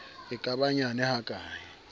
e ka ba nyane hakae